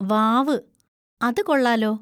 വാവ്! അത് കൊള്ളാലോ.